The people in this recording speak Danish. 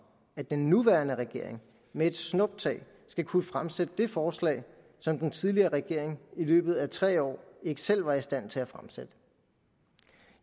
at den nuværende regering med et snuptag skal kunne fremsætte det forslag som den tidligere regering i løbet af tre år ikke selv var i stand til at fremsætte